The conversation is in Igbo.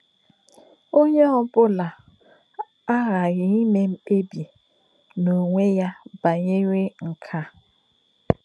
Ọ́nyé ọ̀ bụ́lá̀ àghā́ghị́ ímé mkpébī n’ònwé̄ yá bá̄nyèrè̄ nké à̄.